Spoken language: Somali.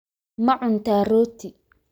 Ma cuntaa rooti?